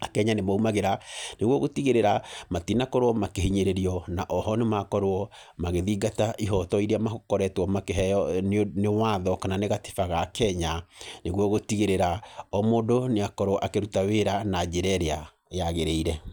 Akenya nĩ maumagĩra, nĩguo gũtigĩrĩra, matinakorwo makĩhinyĩrĩrio. Na oho nĩ makorwo magĩthingata ihooto irĩa makoretwo makĩheeo nĩ nĩ watho kana nĩ gatiba ga Kenya nĩguo gũtigĩrĩra, o mũndũ nĩ akorwo akĩruta wĩra na njĩra ĩrĩa yagĩrĩire.